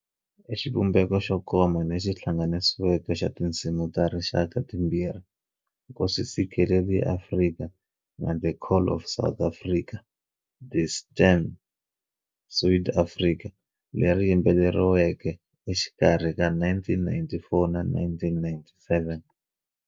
I xivumbeko xo koma lexi hlanganisiweke xa tinsimu ta rixaka timbirhi, Nkosi Sikelel'iAfrika'na 'The Call of South Africa' - 'Die Stem va Suid-Afrika', leri yimbeleriweke exikarhi ka 1994 na 1997.